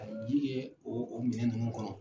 A bi ji kɛ o minɛn nunnu kɔnɔ.